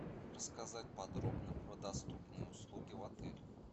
рассказать подробно про доступные услуги в отеле